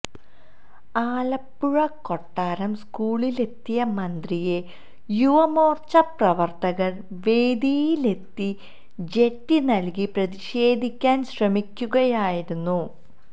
ആലപ്പുഴ കൊട്ടാരം സ്കൂളിലെത്തിയ മന്ത്രിയെ യുവ മോർച്ച പ്രവർത്തകർ വേദിയിലെത്തി ജട്ടി നൽകി പ്രതിഷേധിക്കാൻ ശ്രമിക്കുകയായിരുന്നു